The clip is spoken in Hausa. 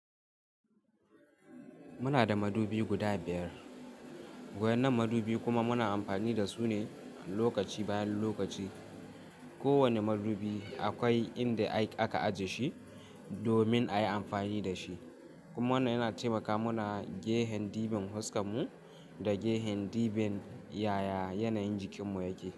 Muna da madubi guda biyar, wayen nan madubi kuma muna amfani da su ne lokaci bayan lokaci. Ko wanne madubi akwai inda aka ajiye shi domin a yi amfani da shi kuma wannan yana taimaka muna gefen ɗiban fuskar mu da gefen ɗiban yaya yanayin jikinmu yake.